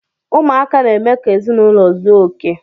Ụmụaka n- eme ka ezinụlọ zuo okè.